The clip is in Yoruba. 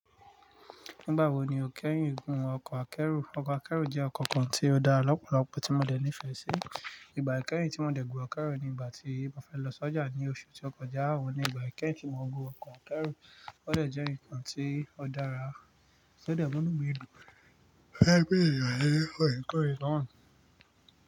Nigba wo ni o keyin gun ọkọ akeru? Ọkọ akeru je ọkọ kàn ti o dára lọpọlọpọ ti mo de nifẹ si ìgbà ikẹ́yìn tí mo dẹ̀ gun ọkọ̀ akẹ́rù ni ìgbà tí mo fẹ́ lọ s'ọ́jà ní oṣù tí ó kọjá. Owun ni ìgbà kẹ́yìn tí mo gun ọkọ̀ akẹ́rù. Ó dẹ̀ jẹ́ nǹkan tí ó dára. Ó dẹ̀ múnú mi dùn. Fẹ́ gbé ènìyàn lé orí kòrè naa.